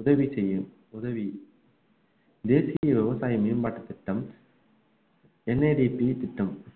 உதவி செய்யும் உதவி தேசிய விவசாய மேம்பாட்டு திட்டம் NADP திட்டம்